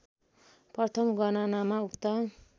प्रथम गणनामा उक्त